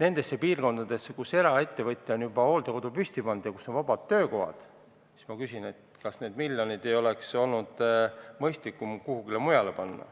nendes piirkondades, kus eraettevõtja on juba hooldekodu püsti pannud ja kus on vabad töökohad, siis ma küsin, kas need miljonid ei oleks olnud mõistlikum kuhugi mujale panna.